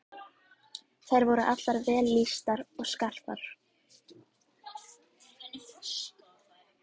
Þær voru allar vel lýstar og skarpar.